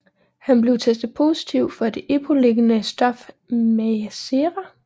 Han blev testet positiv for det epolignende stof Mircera